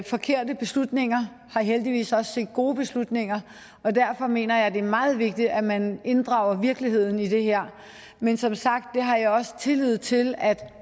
forkerte beslutninger har heldigvis også set gode beslutninger og derfor mener jeg det er meget vigtigt at man inddrager virkeligheden i det her men som sagt har jeg også tillid til at